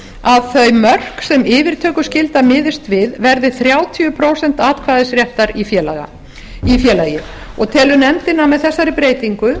að þau mörk sem yfirtökuskylda miðast við verði þrjátíu prósent atkvæðisréttar í félagi telur nefndin að með þessari breytingu